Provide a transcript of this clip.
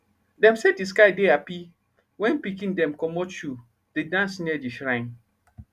them say the sky dey happy when pikin dem commot shoe dey dance near the shrine